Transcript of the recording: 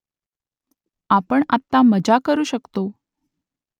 आपण आत्ता मजा करू शकतो